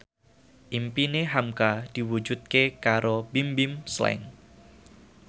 impine hamka diwujudke karo Bimbim Slank